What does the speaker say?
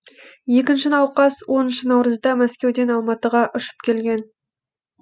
екінші науқас оныншы наурызда мәскеуден алматыға ұшып келген